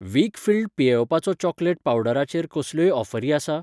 वीकफील्ड पियेवपाचो चॉकलेट पावडरा चेर कसल्योय ऑफरी आसा ?